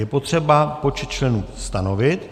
Je potřeba počet členů stanovit.